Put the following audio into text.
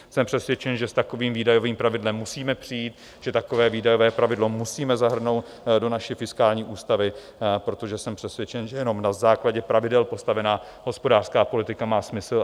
Jsem přesvědčen, že s takovým výdajovým pravidlem musíme přijít, že takové výdajové pravidlo musíme zahrnout do naší fiskální ústavy, protože jsem přesvědčen, že jenom na základě pravidel postavená hospodářská politika má smysl.